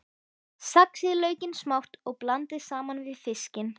Saxið laukinn smátt og blandið saman við fiskinn.